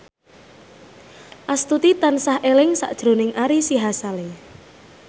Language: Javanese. Astuti tansah eling sakjroning Ari Sihasale